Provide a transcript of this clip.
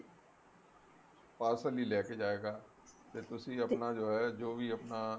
parcel ਹੀ ਲੈਕੇ ਜਾਏਗਾ ਤੇ ਤੁਸੀਂ ਆਪਣਾ ਜੋ ਹੈ ਜੋ ਵੀ ਆਪਣਾ